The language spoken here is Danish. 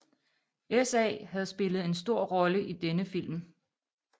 SA havde spillet en stor rolle i denne film